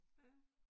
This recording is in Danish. Ja